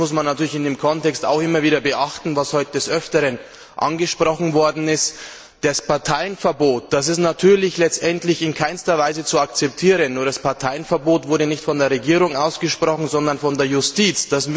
Nur eines muss man in diesem Kontext natürlich immer beachten, was heute des Öfteren angesprochen wurde Das Parteienverbot ist natürlich letztendlich in keinster Weise zu akzeptieren, nur das Parteienverbot wurde nicht von der Regierung ausgesprochen, sondern von der Justiz.